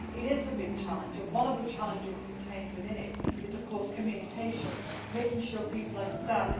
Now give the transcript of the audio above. It is a big challenge and one of the challenges contained within it is communication, making sure people understand.